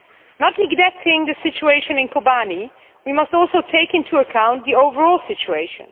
Not neglecting the situation in Kobane, we must also take into account the overall situation.